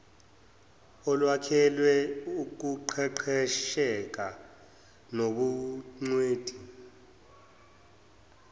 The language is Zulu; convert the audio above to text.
olwakhelwe ukuqeqesheka nobungcweti